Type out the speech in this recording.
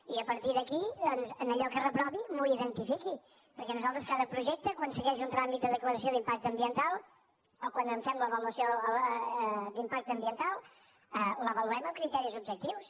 i a partir d’aquí doncs allò que reprovi m’ho identifiqui perquè nosaltres cada projecte quan segueix un tràmit de declaració d’impacte ambiental o quan en fem l’avaluació d’impacte ambiental l’avaluem amb criteris objectius